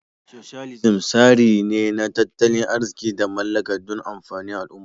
" Socialism" tsari ne na tattalin arziki da mallaka dun amfanin al umma